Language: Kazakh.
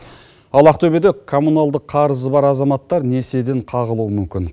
ал ақтөбеде коммуналдық қарызы бар азаматтар несиеден қағылуы мүмкін